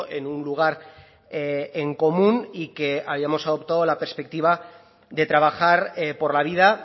en un lugar en común y que habíamos adoptado la perspectiva de trabajar por la vida